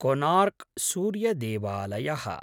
Konark सूर्यदेवलायः